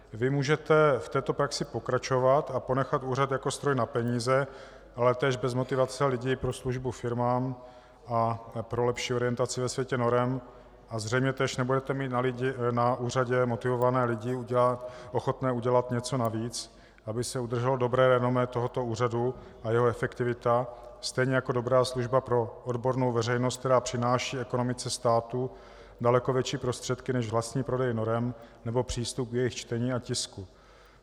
Vy můžete v této praxi pokračovat a ponechat úřad jako stroj na peníze, ale též bez motivace lidí pro službu firmám a pro lepší orientaci ve světě norem, a zřejmě též nebudete mít na úřadě motivované lidi ochotné udělat něco navíc, aby se udrželo dobré renomé tohoto úřadu a jeho efektivita, stejně jako dobrá služba pro odbornou veřejnost, která přináší ekonomice státu daleko větší prostředky než vlastní prodej norem nebo přístup k jejich čtení a tisku.